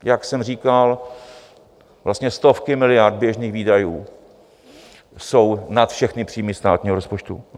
Jak jsem říkal, vlastně stovky miliard běžných výdajů jsou nad všechny příjmy státního rozpočtu.